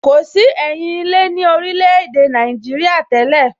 Kò sí ẹyin ilé ní orílè èdè Nàìjíríà tẹ́lẹ̀